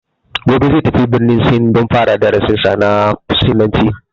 Gobe zai tafi birnin sin don fara darasin sa na sinanci